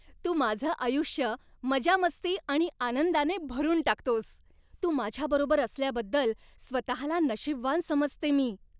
तू माझं आयुष्य मजामस्ती आणि आनंदाने भरून टाकतोस. तू माझ्याबरोबर असल्याबद्दल स्वतला नशीबवान समजते मी.